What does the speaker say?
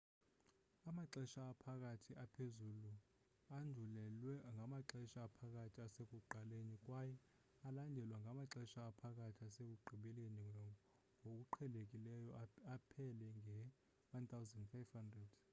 amaxesha aphakathi aphezuluandulelwa ngamaxesha aphakathi asekuqaleni kwaye alandelwa ngamaxesha aphakathi asekugqibeli ngokuqhelekileyo aphele nge-1500